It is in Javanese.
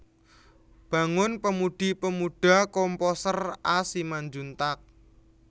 Bangun Pemudi Pemuda Komposer A Simanjuntak